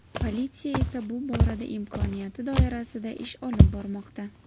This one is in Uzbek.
Politsiya esa bu borada imkoniyati doirasida ish olib bormoqda.